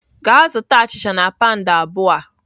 Gaa zụta achịcha na pound abụọ a!